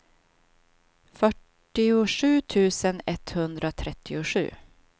fyrtiosju tusen etthundratrettiosju